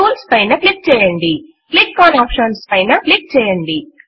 tools పైన click చేయండి gtclick on options పైన క్లిక్ చేయండి